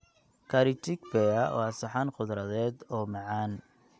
Curry Chickpea waa saxan khudradeed oo macaan.